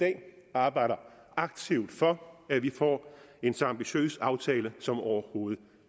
arbejder aktivt for at vi får en så ambitiøs aftale som overhovedet